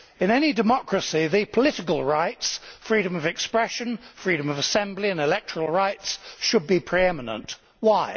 In any democracy the political rights freedom of expression, freedom of assembly and electoral rights should be pre eminent. Why?